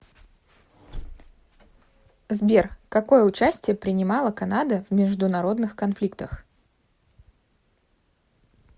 сбер какое участие принимала канада в международных конфликтах